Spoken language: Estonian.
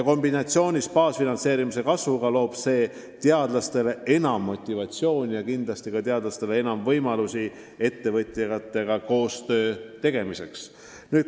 Kombinatsioonis baasfinantseerimise kasvuga pakub see teadlastele enam motivatsiooni ja kindlasti ka enam võimalusi ettevõtjatega koostööd teha.